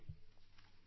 phone call 2